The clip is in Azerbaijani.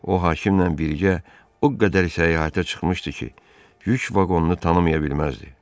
O hakimlə birgə o qədər səyahətə çıxmışdı ki, yük vaqonunu tanıya bilməzdi.